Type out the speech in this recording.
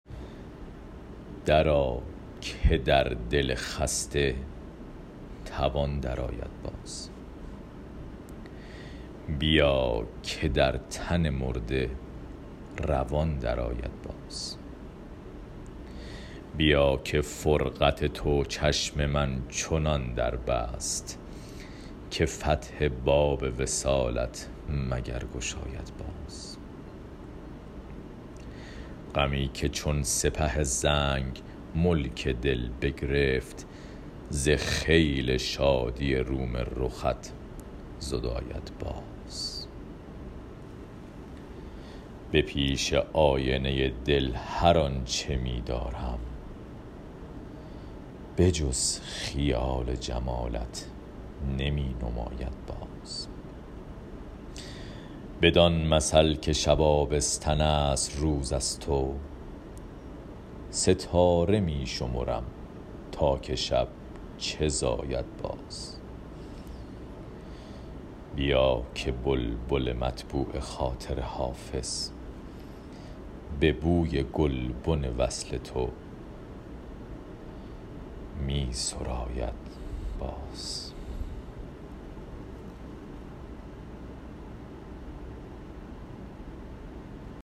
درآ که در دل خسته توان درآید باز بیا که در تن مرده روان درآید باز بیا که فرقت تو چشم من چنان در بست که فتح باب وصالت مگر گشاید باز غمی که چون سپه زنگ ملک دل بگرفت ز خیل شادی روم رخت زداید باز به پیش آینه دل هر آن چه می دارم به جز خیال جمالت نمی نماید باز بدان مثل که شب آبستن است روز از تو ستاره می شمرم تا که شب چه زاید باز بیا که بلبل مطبوع خاطر حافظ به بوی گلبن وصل تو می سراید باز